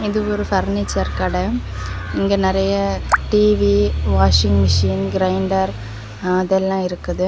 இது ஒரு பர்னிச்சர் கடை இங்க நெறைய டிவி வாஷிங் மெஷின் கிரைண்டர் அதெல்லா இருக்குது.